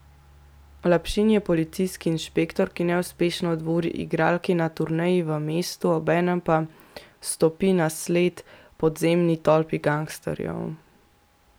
Lapšin je policijski inšpektor, ki neuspešno dvori igralki na turneji v mestu, obenem pa stopi na sled podzemni tolpi gangsterjev.